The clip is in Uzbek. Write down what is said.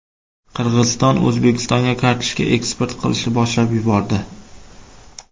Qirg‘iziston O‘zbekistonga kartoshka eksport qilishni boshlab yubordi.